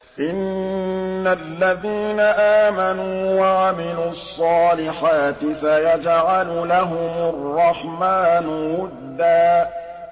إِنَّ الَّذِينَ آمَنُوا وَعَمِلُوا الصَّالِحَاتِ سَيَجْعَلُ لَهُمُ الرَّحْمَٰنُ وُدًّا